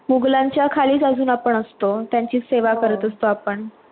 मुघलांच्या खालीच अजून आपण असतो, त्यांचीच सेवा करत असतो आपण